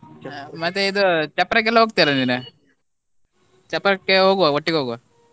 ಮತ್ತೆ ಇದು ಚಪ್ಪರಕ್ಕೆ ಎಲ್ಲ ಹೋಗ್ತಿಯಾ ಅಲ್ಲ ನೀನು ಚಪ್ಪರಕ್ಕೆ ಹೋಗುವಾ ಒಟ್ಟಿಗೆ ಹೋಗುವ.